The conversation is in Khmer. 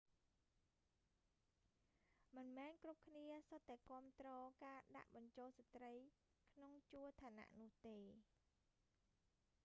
មិនមែនគ្រប់គ្នាសុទ្ធតែគាំទ្រការដាក់បញ្ចូលស្ត្រីក្នុងជួរឋានៈនោះទេ